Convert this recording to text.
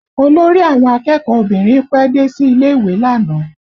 Olórí àwọn akẹ́kọ̀ọ́ obìnrin pẹ́ dé sí ilé ìwé lánàá